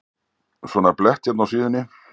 Svona blett hérna á síðunni.